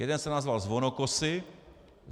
Jeden jsem nazval Zvonokosy.